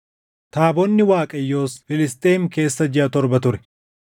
Taabonni Waaqayyoos Filisxeem keessa jiʼa torba ture.